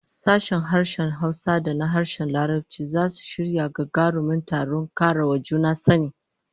Sashen harshen Hausa da na harshen Larabci zasu shirya gagarumin taron kara wa juna sani